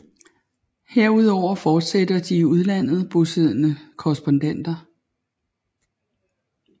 Herudover fortsætter de i udlandet bosiddende korrespondenter